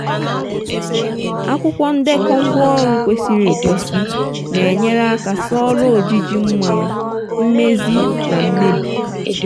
akwụkwọ ndekọ ngwaọrụ kwesịrị ekwesị na-enyere aka soro ojiji mmanụ mmezi na mmebi.